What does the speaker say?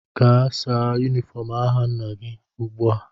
Gaa saa yunifọm agha nna gị ugbua!